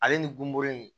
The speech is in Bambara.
Ale ni gunbore